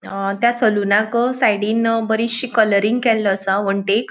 अ त्या सलुनाक साइडिन बरिचशी कलरींग केल्लो असा वनटीक.